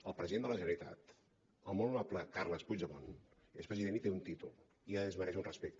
el president de la generalitat el molt honorable carles puigdemont és president i té un títol i es mereix un respecte